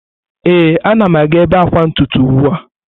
Ee, a na m aga ebe akwa ntutu ugbu a.